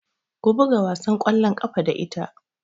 Ku buga wasan ƙwallon ƙafa da ita!